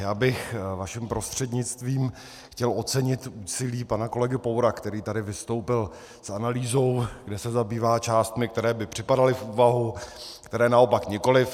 Já bych vaším prostřednictvím chtěl ocenit úsilí pana kolegy Poura, který tady vystoupil s analýzou, kde se zabývá částmi, které by připadaly v úvahu, které naopak nikoliv.